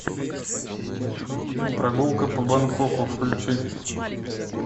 прогулка по бангкоку включи